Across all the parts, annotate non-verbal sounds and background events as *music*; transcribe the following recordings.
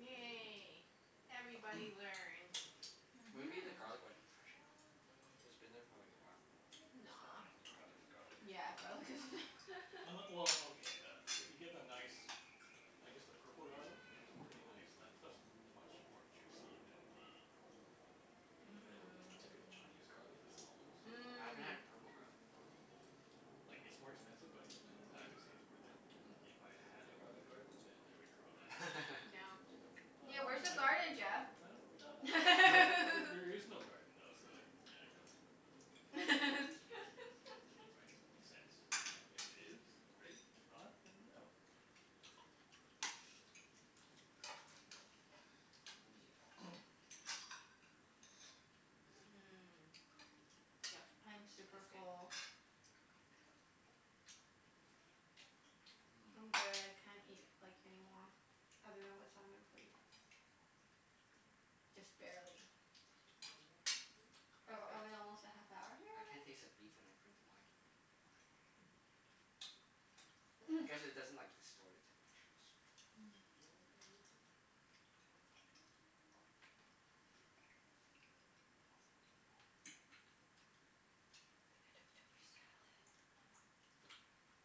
Mm. Everybody *noise* learned. Mhm. *noise* *noise* Maybe the garlic wasn't fresh enough? It's been there for like a while. It's Nah. fine. Garlic is garlic. Yeah, garlic is *noise* *laughs* Unle- well, okay, the, if you get the nice *noise* I guess the purple garlic. *noise* Pretty nice. That stuff's much more juicy than the than the typical Mmm. Chinese garlic. The small ones. Ooh. *noise* I haven't had Mm. a purple garlic before. *noise* Like, it's more expensive but it, I I would say it's worth it. If I had a garlic garden *noise* then I would grow that. *noise* No. Yeah, But where's the Mm. I Mmm. garden, dunno. Jeff? I don't ah, *laughs* there is no garden though, so, yeah, I don't. *noise* *laughs* Right? Makes sense. You know? If there is, then great. If *laughs* not, then no. *noise* *noise* Oh Mmm. Yep. *noise* I'm super That's good. full. yeah. *noise* *noise* I'm good. I can't eat, like, any more. Other than *noise* what's on my plate. *noise* *noise* Just Mmm. barely. *noise* *noise* Are That's good. are we almost at half *noise* hour here I can't already? taste the beef when I drink the wine *noise* *noise* I guess it doesn't like, distort it too much since Mm. *noise* *noise* I think I took too much salad.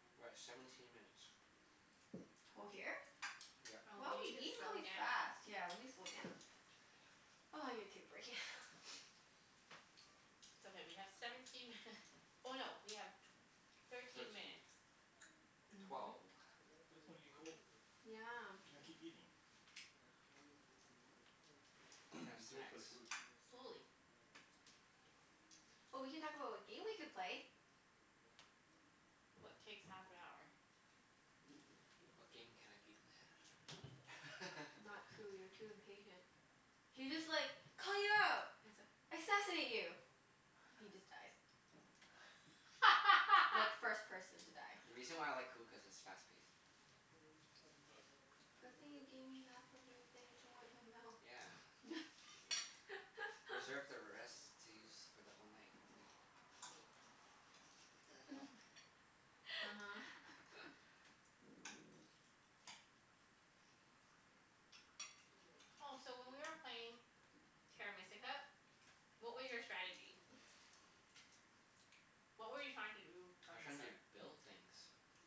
*noise* We're at seventeen minutes. Co- here? *noise* *noise* Yep. Wow, Oh, we we need eat to slow really fast. down. Yeah, let me slow down. Oh, I need to take a break, yeah. *noise* It's okay, we have seventeen minut- oh no, we have tw- *noise* thirteen Thirteen. minutes. *noise* Mhm. Twelve. *noise* But it's gonna get cold. You Yeah. gotta keep eating. Can have *noise* Do it snacks. for the food. *noise* Slowly. *noise* Oh, we can talk about what game we could play. *noise* What takes half an hour? What game can I beat them at? Not Coup. *laughs* You're too impatient. *noise* He just like *inaudible* it's like, assassinate you! He just dies. Like, first person to die. The reason why I like *laughs* Coup, cuz it's fast paced. Good thing you gave me half of your thing to wipe my mouth. Yeah. *noise* Reserve *laughs* the *noise* rest to use for the whole night. No? *laughs* *laughs* *noise* *noise* Oh, so when we were playing Terra Mystica, what were your strategy? uh-huh. *noise* *noise* What were you trying to do *noise* I from was the trying to start? build things. *noise*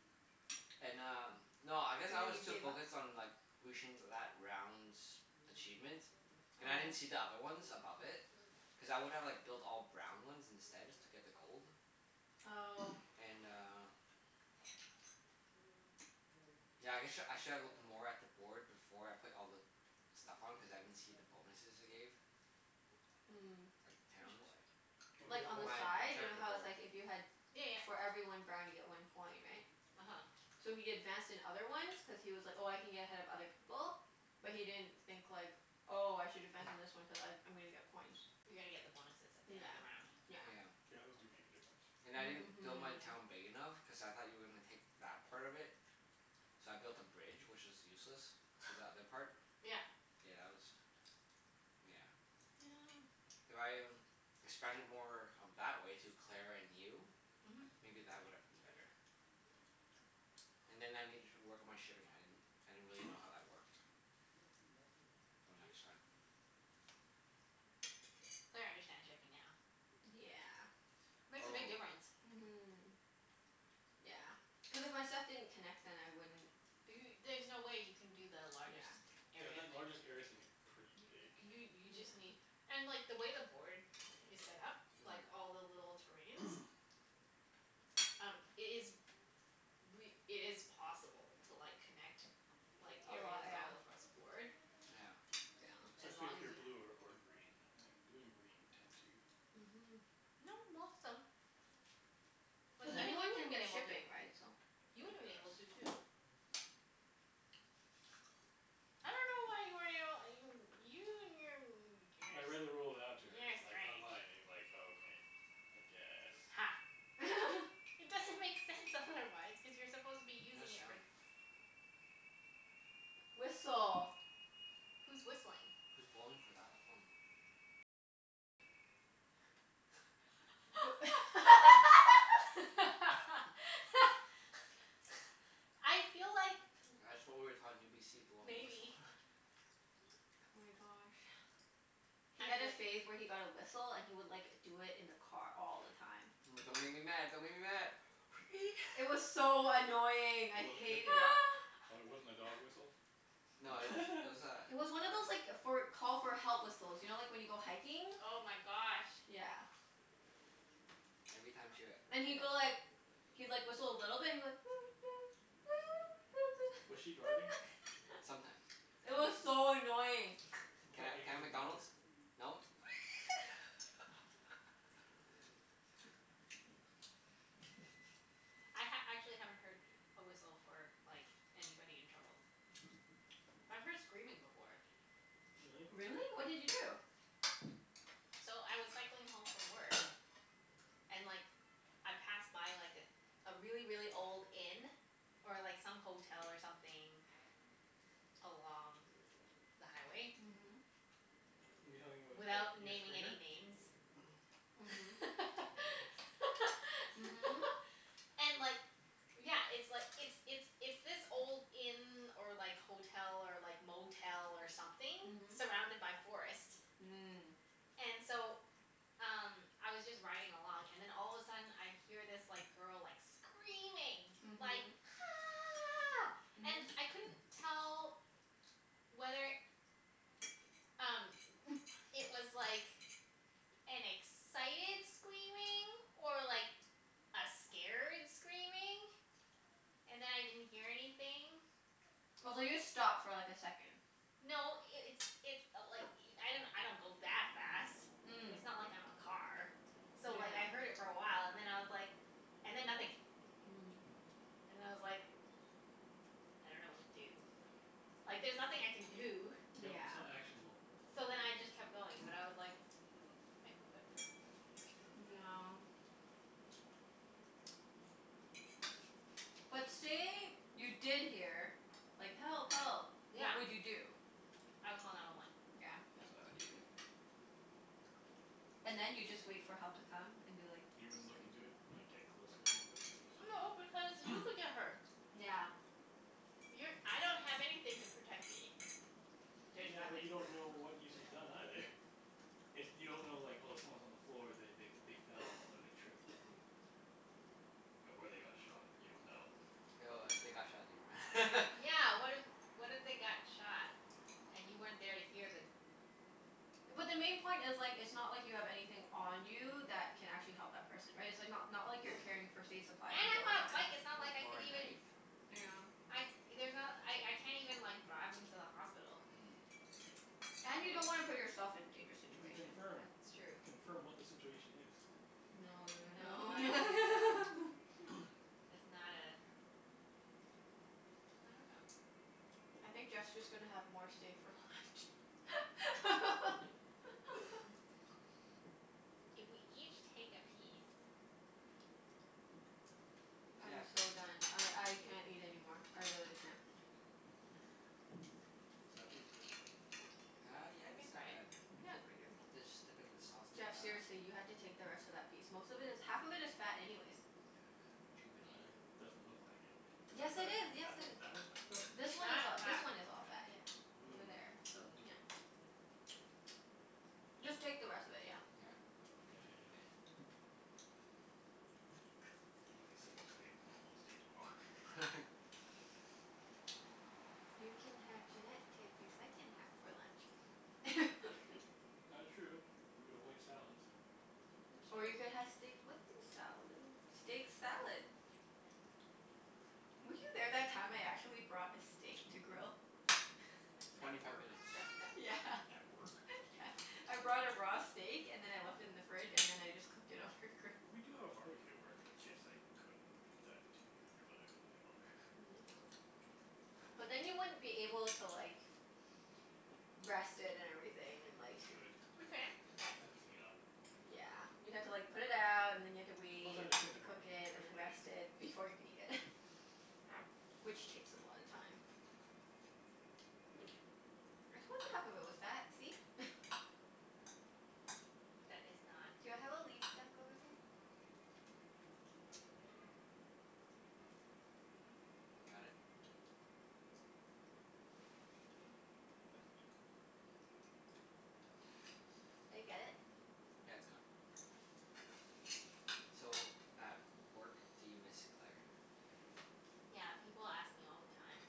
*noise* And um, no, I guess And I then was you too gave up? focused on like reaching that round's achievement. And I didn't Oh. see the other ones above it. Cuz I would've like built all brown ones instead, just to get the gold. *noise* Oh. *noise* And uh *noise* yeah I guess sh- I should have looked more at the board before I put all the stuff on, cuz I didn't see the bonuses it gave. *noise* Mm. *noise* Like, *noise* Which towns. board? *noise* Like, on the My *inaudible* my side. You know character how it's board. like if you had Yeah yeah. for every one brown you get one coin, right? uh-huh. So he advanced in other ones cuz he was like, "Oh, I can get ahead of other *noise* people." But he didn't think, like "Oh, I should *noise* advance in this one cuz I I'm gonna get coins." You're gonna get the bonuses at the end of Yeah, the round. yeah. Yeah, those do make a difference. Yeah. *noise* And I didn't build my town *noise* big enough, cuz I thought you were gonna take that part of Mhm. it. So I built a bridge, which is *noise* useless. To the other part. *noise* Yeah. *laughs* Yeah, that was, yeah. *noise* If I expanded more of that way to Claire and you *noise* Mhm. maybe that would have been better. *noise* And then I Yeah. needed to work on my shipping. I didn't I didn't really know how that worked. *noise* So, next time. *noise* *noise* Claire understands shipping now. *noise* D- yeah. *noise* Makes a Oh. big difference. Mhm. Yeah. Cuz if my stuff didn't connect then I wouldn't Do y- there's no way you can do the largest Yeah. Yeah, area that thing. largest area thing is pretty big. You you just Yeah. need and like, the way the board is set up *noise* like all the little terrains *noise* Um, it is Mm. re- it is possible to like, connect like, *noise* A lot, areas yeah. all *noise* Yeah. *noise* across the board. *noise* Yeah. *noise* As Especially long if as you're you blue ha- or or green, I think. Blue and green tend to Mhm. No, most them. *noise* Like, Cuz even *noise* you anyone can would've been get able to. shipping, right? So You tend would've to been able have to, too. *laughs* I dunno why you weren't able you you and your n- I beginners. read *inaudible* You're a like strange. online, and like, okay. I guess. Ha. *noise* *laughs* It doesn't make sense, otherwise. Cuz you're *noise* supposed to be What that using it for sound? Whistle. Who's whistling? Who's blowing for that long? *laughs* *laughs* *laughs* I feel like *noise* That's what we were taught in UBC. Blowing *noise* the whistle. Maybe. *laughs* Oh my gosh. *noise* *noise* He had a Actually phase where he got a whistle and he would like, do it in the car all the time. *noise* But don't make me mad. Don't make me mad. Wee! It was *laughs* so annoying. It I w- w- hated w- it. oh, it wasn't a dog whistle? *laughs* No, it was, it was *laughs* It was one of a *noise* those like, for call for help whistles. You know, like when you go hiking? Oh my gosh. Yeah. Every time she w- *noise* And he'd go yeah. like he'd like, whistle a little bit. He'd be like *noise* Was she driving? *noise* *laughs* Sometimes. It *noise* I was see. so annoying. He Can felt I can like I he have was in McDonald's? danger. No? *noise* *laughs* *laughs* *noise* I ha- actually haven't heard a whistle for like, anybody in trouble. *noise* But I've heard screaming before. *noise* Really? Really? What did you do? So, I was cycling home from work *noise* and like I passed by like a really, really old inn. *noise* Or like some hotel or something along *noise* the highway. Mhm. You talking *noise* about? Without naming any *inaudible* names. Mhm. Okay. *noise* *laughs* And like Yeah, it's like, Mhm. it's it's it's this old *noise* inn or like hotel, or like motel, or something surrounded by forest. *noise* Mhm. *noise* *noise* And so, um Mm. I was just riding along and then all of a sudden I hear this *noise* like, girl like, screaming. Like Mhm. "Ah!" And I couldn't tell *noise* whether Mhm. um, it was like *noise* an excited screaming or like, *noise* a scared screaming. And then I didn't hear anything. *noise* I was like, just stop for like, a second. No, *noise* it it's it i- like i- I don't go that fast. Mm. It's not like I'm a car. So like, I heard it for a while and then I was like and then nothing. And I was like *noise* I don't know what to do. Like, there's nothing I can do. Yeah. *noise* Mm. *noise* Yep, Yeah. it's not actionable. So then I just *noise* kept going, but I *noise* was like mm, I hope that person's okay. Yeah. *noise* *noise* But say you *laughs* did hear like, "Help! Help!" *noise* Yeah. What would you do? *noise* I would call nine one one. *noise* Yeah. That's what I would do, too. *noise* And then you just wait for help to come and be like You "It's wouldn't coming look into from there." it? Like, get closer a little bit *noise* to see what's going No, on? because you *noise* could get hurt. *noise* Yeah. *noise* You're, I don't have anything to protect me. *noise* *noise* There's Yeah, but you nothing. don't know what needs to be done, either. *noise* If you don't know like, oh someone's on the floor. They they they fell, or they tripped. Or they got shot. You don't know. *noise* *noise* But *inaudible* *laughs* Yeah, what if what if they got shot? And you weren't there to hear the *noise* But the main point is like, it's not like you have anything on you that can actually help that person. Right? It's like not not like you're carrying first aid supplies And with you all I'm the on a bike. time. It's not like I O- or could a even knife. Yeah. *noise* I, there's not, I I can't even *noise* like, drive them to the hospital. Mm. *noise* And you Wha- don't wanna wha- put yourself in dangerous You can situation. That's Yeah. confirm. true. Confirm what the situation is. *noise* No no no No, I don't think so. no. *laughs* *noise* That's not a I dunno. *noise* I think Jeff's just gonna have more stay for left. *laughs* If we each take a *noise* piece *noise* *noise* I'm Yeah. so done. See I if you I can do it. can't eat anymore. I really can't. *noise* *noise* Is that piece good? *noise* Uh, yeah, I can it's try not it. bad. Yeah, it's pretty Just dip it in the good. *noise* sauce to uh Jeff, seriously, you have to take the rest of that piece. Most of it is, half of it is fat anyways. *noise* rejuvenate I, doesn't look like it. it. *noise* Is Yes, that it fat? is. Is Yes, that it one, is. that one's fat, though? This one is That a- this fat. one is all fat, Okay. yeah. Over *noise* there, Hmm. so yeah. Mmm. Mmm. *noise* Just take the rest of it, yeah. *noise* Yeah. Okay. *noise* You may. I'm gonna be sick of steak. I won't want steak tomorrow. *noise* *laughs* *laughs* You can have Junette take the second half for lunch. *laughs* *noise* *noise* That is true. You would avoid salads. *laughs* *noise* It's Or you could true. have steak with your salad? Steak salad. Were you there that time I actually brought a steak to grill? *noise* *noise* At Twenty five work? minutes. *noise* *laughs* Yeah. At work? *laughs* Yeah. I brought a raw steak and then I left it in the fridge, and then I just cooked it on her grill. We do have a barbecue at work. I guess I could *noise* do that too, but I wouldn't be all there. Yeah. But then you wouldn't be able to like rest it and *noise* everything, and like You could. *noise* We can. You'd have to clean up. Yeah. You'd have to like put it out, and then you'd have to Plus wait, I'd have and to then you'd clean have the to cook barbecue it, in the and first then place. rest it before you can eat it. *laughs* Which takes a lot of time. I told you half of it was fat, see? *laughs* *noise* That is not Do I have a leaf stuck over there? *noise* *noise* Right here. *noise* Can't tell, I think that's meat. It was fine. Did I get Got it? it? *noise* Yeah, it's gone. *noise* So, at work do you miss Claire? Yeah, people ask me all the time.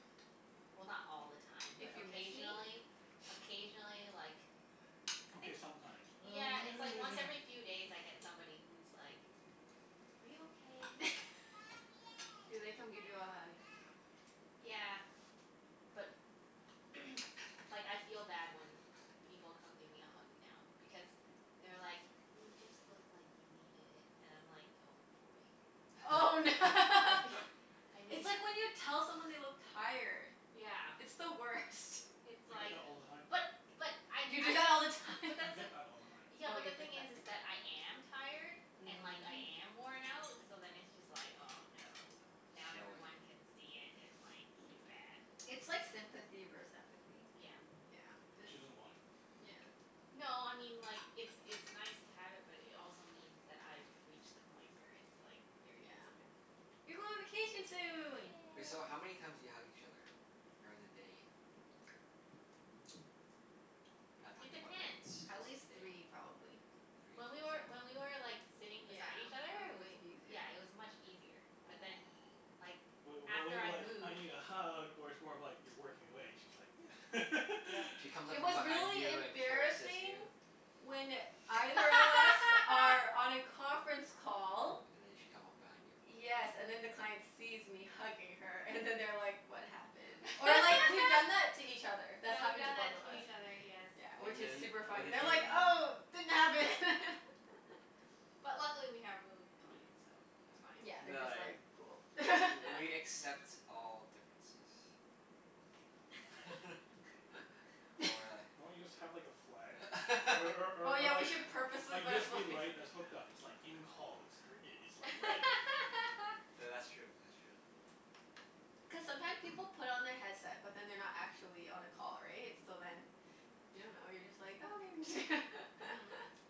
Well, not all the time, but If you miss me? occasionally. *noise* Occasionally, like I Okay, think sometimes. Yeah, Uh it's like once every *noise* few days I get somebody who's like "Are you okay?" *laughs* Do *noise* they come give you a hug? Yeah. But *noise* like, I feel bad when people come give me a hug now. Because *noise* they're like "You just look like you needed it." And I'm like, oh boy. Oh I fee- *laughs* *laughs* I It's need like when you tell someone they look tired. Yeah. It's *noise* the worst. *noise* It's I get like that all the time. But but I You do usually that all the time? but I that's the get that all the time. Yeah, Oh, but you the get thing is is that. that I am tired. And like, I Mm. am worn out. So then it's just like, oh no. *noise* It's Now showing. everyone can see it, and like it's bad. It's like sympathy *noise* vers- empathy. Yeah. Yeah, And this she doesn't want it. Yeah. No, I mean like It's it's nice to have it, but it also means that I've reached the point where it's like, very Yeah. visible. *noise* You go on vacation soon! Wait, so Yay. how many times do you hug each other? During the day. *noise* *noise* *noise* Not It talking about nights. depends. Just At day. least three, Three? probably. I'd When we were, say. when we were like, sitting Yeah. beside each other, It was it was way yeah, easier. it was much easier. But then, Mm. like Wait, what was after it I like, "I moved need a hug?" Or it's more of like you're working away and she's like *noise* *noise* Yep. She *laughs* comes up It from was behind really you and caresses embarrassing you. when either of us are *laughs* on a conference call And then she'd come up behind you? Yes, and then the client sees me hugging her, and then they're like "What happened?" Or like, we've *laughs* done *laughs* that to each other. That's Yeah, we've happened to done both that of to us. each other. Yes. Yeah, which And is then super what funny. did They're you like, *inaudible* "Oh, didn't happen!" *laughs* But luckily we have really good clients, so it's *noise* Yeah, Yeah, fine. they're they're just like, like, "Cool." "W- we *laughs* accept all differences." *laughs* Or *laughs* *laughs* Why don't you just a have like a flag? Or or Oh, or yeah, or we like should A purposefully put a fla- USB light that's hooked up. It's like, "In call." It's *laughs* gr- i- it's like red. *laughs* Th- that's true, that's true. Cuz sometime people *noise* put on their headset but then they're not actually on a call, right? So then you don't know, you're just like, "Oh, there it is." Mhm. *laughs*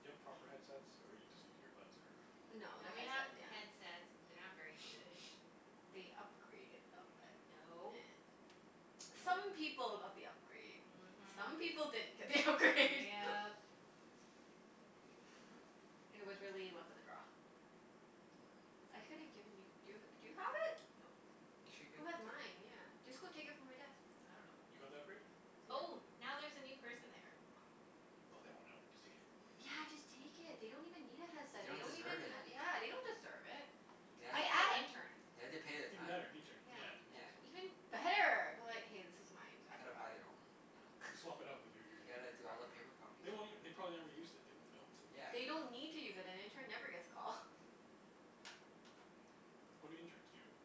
Do you have proper headsets, or you just use earbuds, or No, No, they're we have headset, yeah. headsets but they're not *noise* very good. They upgraded them but, nah. No. No? Some people got the upgrade. Some Mhm. people didn't get the upgrade. Yep. *laughs* It was really luck of the draw. I coulda given you, do y- do you have it? Nope. You should've Who given had it to her. mine? Yeah. Just go take it from my desk. I dunno. You got the upgrade? Oh, Yeah. now there's a new person there. Oh. Oh, they won't know. Just take it. Yeah, just take it. They don't even need a headset. They Don't don't even deserve have it. *noise* Yeah, they don't deserve it. They I have I to think it's an a- pa- intern. they have to pay their Even time. better. Intern. Yeah. Yeah, Yeah. interns Even don't better. Be like, "Hey, this is mine. I *noise* Gotta forgot buy it." their own, you know? Just swap it out *laughs* *laughs* with your You your your gotta your do all the crappy one. paper copies They for won't it. ev- they probably never used it. They won't know. Yeah. They don't need to use it. An intern never gets a call. What do interns do? *noise*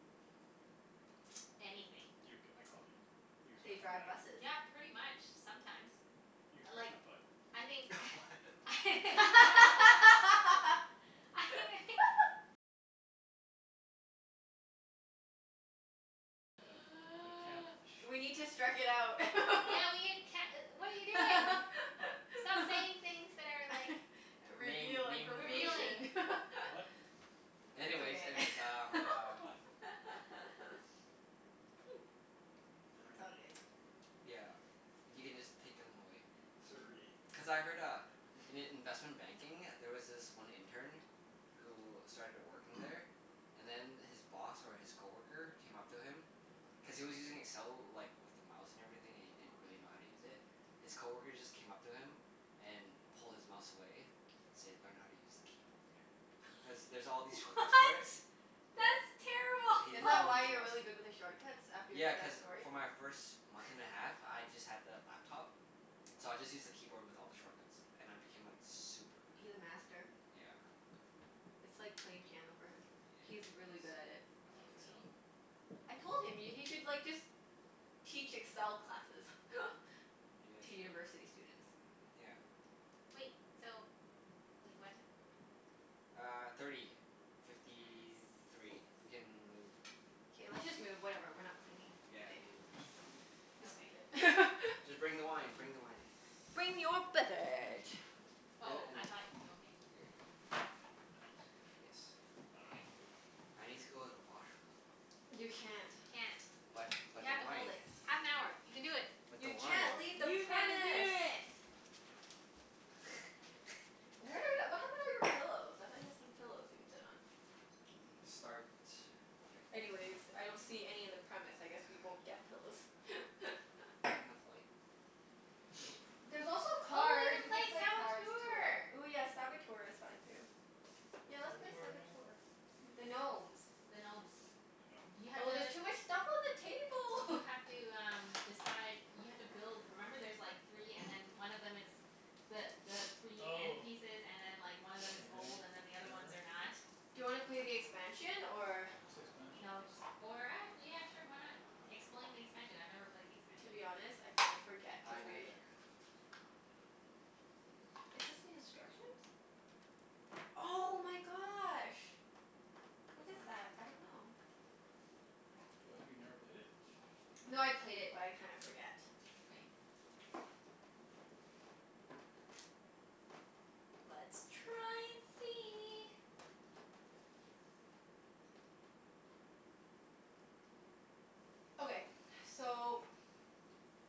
Anything. You, get my coffee. You, They scratch my drive back. buses. Yeah, pretty much. Sometimes. You, I scratch like my butt. I think *laughs* What? *laughs* *laughs* I *laughs* The the camp *noise* We need to strike it out. *laughs* Yeah we can't e- what are you doing? What? Stop *laughs* saying things that are like *laughs* Name Reveal naming revealing. information. *inaudible* *laughs* What? It's Anyways, okay. anyways, um *laughs* uh What? *noise* *noise* It's all Burnaby. good. *noise* Yeah. You can just take 'em away. Mhm. Surrey. Cuz I heard uh, in i- investment banking there was this one intern who started *laughs* working there *noise* and then his boss or his coworker came up to him *noise* cuz he was using Excel like, with the mouse and everything, and he didn't really know how to use it. His coworker just came up to him and pulled his mouse away and said, "Learn how to use the keyboard." Cuz there's all *laughs* these shortcuts for it. What? Yeah. That's He did Is it that all terrible. with why a you're mouse. really good with the shortcuts? After you Yeah, heard cuz that story? for my first month and a *laughs* half, *laughs* I just had the laptop. So I just used the keyboard with all the shortcuts. And I *noise* became like super He's a master. Yeah. It's like playing piano for him. Yeah, it He's really good at is. it. I I It's love see. crazy. Excel. I told him, y- he should like just teach Excel classes. *laughs* Maybe I To should. university students. Yeah. Wait, so Wait, what ti- *noise* Uh, thirty fifty three. We Yes. can move. K, let's just move. Whatever, we're not cleaning Yeah, today. leave this sh- Just leave Okay. it. *laughs* Just bring the wine. Mhm. Bring the wine. Bring your Bring the lemon beverage. tea. And Oh, and I then thought, okay. Here you go. And paper towels. Yes. I Okay. Okay. dunno. I need to go to the washroom though. You can't. You can't. But You but the have to hold wine. it. Half an hour. You can do it. But the You can't wine. leave the You can do premise. it. Where the w- d- *laughs* what happened to all your pillows? I thought you had some *noise* pillows we could sit on? Mm, start. Okay. Anyways, I don't see any in the premise. I guess we *noise* won't get pillows. *laughs* There enough light? Nope. *noise* There's also Oh, we cards. can We play could play cards, tour Saboteur! Ooh yeah, Saboteur is fun too. Yeah, What's let's play Saboteur again? Saboteur. Don't The remember it. gnomes. The gnomes. The You gnomes? have Oh, there's to too much stuff on the You table. *laughs* have to um, decide You have to build, remember there's like three and *noise* then one of them is the the *noise* three end Oh. pieces and then like, one of them Okay. is gold *noise* and *noise* then the other ones Sure. are not. Do you wanna play the expansion, or What's the expansion? No, just or ac- yeah sure, why not? Explain the expansion. I've never played the To expansion. be honest, I kinda forget I cuz we neither. Is this the instructions? Oh my gosh. What What's is that? that? I don't know. Oh, have you never played it? No, I played it but I kinda forget. Okay. Let's try and see. Okay. So